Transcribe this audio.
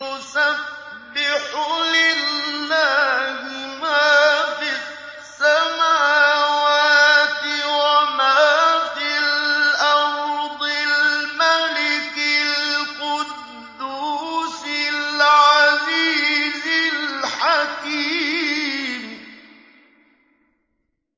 يُسَبِّحُ لِلَّهِ مَا فِي السَّمَاوَاتِ وَمَا فِي الْأَرْضِ الْمَلِكِ الْقُدُّوسِ الْعَزِيزِ الْحَكِيمِ